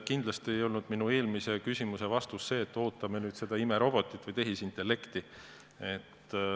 Kindlasti ei olnud minu eelmine vastus see, et ootame nüüd seda imerobotit või tehisintellekti.